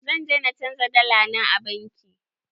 Zan je na canja dala na a banki.